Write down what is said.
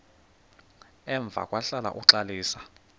emva kwahlala uxalisa